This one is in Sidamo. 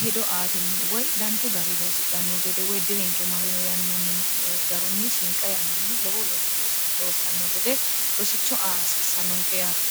hido aatinni woy danchu gari loossidhanno gede woy dirinqe marino yannanni garunni shiinqa yannanni lowo loossanno gede rosicho a hasiissannonke yaate